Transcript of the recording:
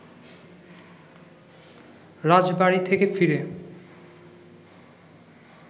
রাজবাড়ী থেকে ফিরে